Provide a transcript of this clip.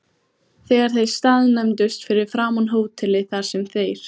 Þegar þeir staðnæmdust fyrir framan hótelið, þar sem þeir